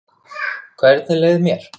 Hvernig leið mér?